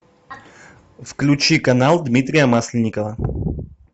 включи канал дмитрия масленникова